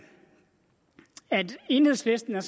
enhedslisten er